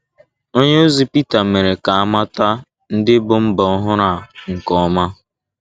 Onyeozi Peter mere ka a mata ndị bụ́ mba ọhụrụ a nke ọma.